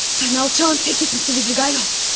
Sən alçağın təkisin, Svidrigaylov!